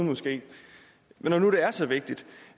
når nu det er så vigtigt